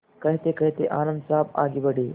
कहतेकहते आनन्द साहब आगे बढ़े